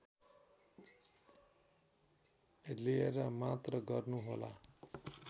लिएर मात्र गर्नुहोला